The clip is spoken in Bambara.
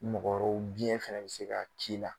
Ni mɔgɔ wɛrɛw biyɛn fɛnɛ bɛ se ka k'i la